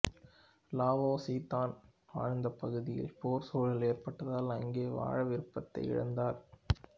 Lao Tzu தான் வாழ்ந்த பகுதியில் போர் சூழல் ஏற்பட்டதால் அங்கே வாழ விருப்பத்தை இழந்தார்